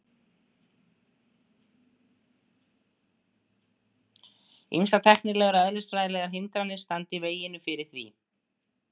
Ýmsar tæknilegar og eðlisfræðilegar hindranir standi í veginum fyrir því.